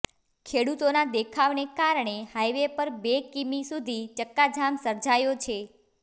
ખેડૂતોના દેખાવને કારણે હાઇવે પર બે કિમી સુધી ચક્કાજામ સર્જાયો છે